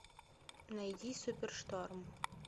найди супер шторм